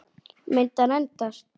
Myndi hann endast?